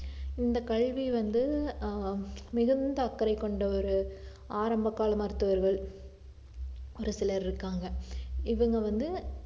இந்த கல்வி வந்து ஆஹ் மிகுந்த அக்கறை கொண்ட ஒரு ஆரம்பகால மருத்துவர்கள் ஒரு சிலர் இருக்காங்க இவுங்க வந்து